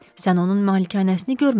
Sən onun malikanəsini görməmisən.